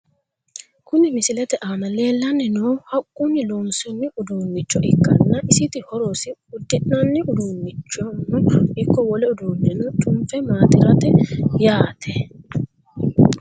Kuni misilete aana leellanni noohu haqquni loonsoonni uduunnicho ikkanna isiti horosino udd'nanni uduunnichono ikko wole uduu'neno cunfe maaxirateeti yaate .